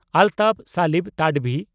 ᱟᱞᱛᱟᱯ ᱥᱟᱞᱤᱢ ᱛᱟᱰᱚᱵᱷᱤ (ᱛᱟᱰᱚᱵᱷᱤ)